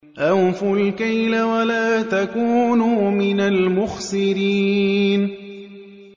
۞ أَوْفُوا الْكَيْلَ وَلَا تَكُونُوا مِنَ الْمُخْسِرِينَ